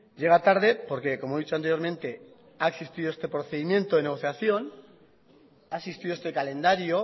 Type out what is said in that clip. llega tarde porque como he dicho anteriormente ha existido este procedimiento de negociación ha existido este calendario